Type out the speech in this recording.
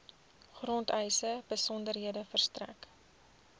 grondeise besonderhede verstrek